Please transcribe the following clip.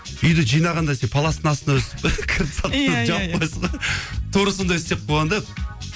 үйде жинағанда сен паластың астына тура сондай істеп қойған да